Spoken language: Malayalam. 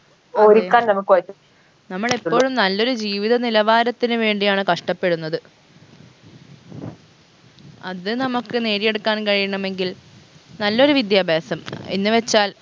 നമുക്ക് പറ്റും നമ്മളെപ്പോഴും നല്ലൊരു ജീവിത നിലവാരത്തിന് വേണ്ടിയാണ് കഷ്ടപ്പെടുന്നത് അത് നമ്മക്ക് നേടിയെടുക്കാൻ കഴിയണമെങ്കിൽ നല്ലൊരു വിദ്യാഭ്യാസം എന്ന് വെച്ചാൽ